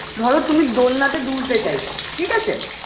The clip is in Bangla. ধরো তুমি দোলনাতে দুলতে চাইছো ঠিক আছে